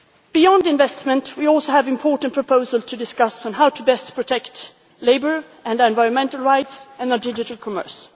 Beyond investment, we also have important proposals to discuss how best to protect labour and environmental rights and digital commerce.